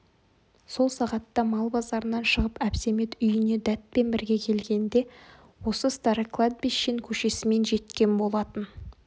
сол сағатта мал базарынан шығып әбсәмет үйіне дәтпен бірге келгенде осы старокладбищен көшесімен жеткен болатын